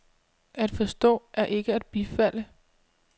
At forstå er ikke at bifalde.